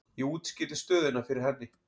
Ég útskýrði stöðuna fyrir henni.